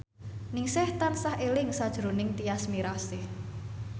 Ningsih tansah eling sakjroning Tyas Mirasih